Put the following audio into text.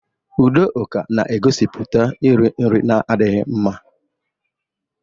Udoka na-egosiputa iri nri na-adịghị mma.